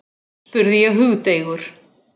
spurði ég hugdeigur.